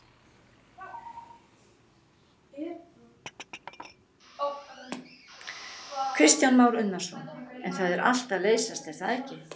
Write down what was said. Kristján Már Unnarsson: En það er allt að leysast er það ekki?